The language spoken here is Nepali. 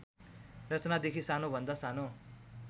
रचनादेखि सानोभन्दा सानो